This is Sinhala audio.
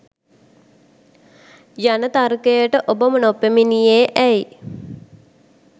යන තර්කයට ඔබ නොපැමිණියේ ඇයි.